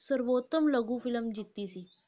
ਸਰਵੋਤਮ ਲਘੂ film ਜਿੱਤੀ ਸੀ।